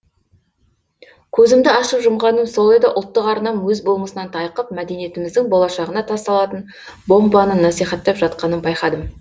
көзімді ашып жұмғаным сол еді ұлттық арнам өз болмысынан тайқып мәдениетіміздің болашағына тасталатын бомбаны насихаттап жатқанын байқадым